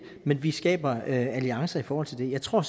men vi skaber alliancer i forhold til det jeg tror